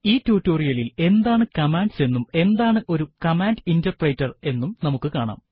ഈ ടുട്ടോറിയലിൽ എന്താണ് കമാൻഡ്സ് എന്നും എന്താണ് ഒരു കമാൻഡ് ഇന്റെർപ്രെറ്റർ എന്നും നമുക്ക് കാണാം